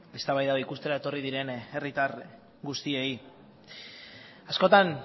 eztabaida hau ikusten etorri diren herritar guztioi askotan